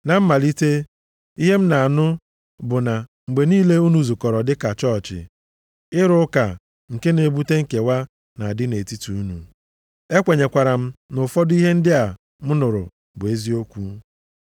Na mmalite, ihe m na-anụ bụ na mgbe niile unu zukọrọ dịka chọọchị, ịrụ ụka nke na-ebute nkewa na-adị nʼetiti unu. E kwenyekwara m na ụfọdụ ihe ndị a m nụrụ bụ eziokwu.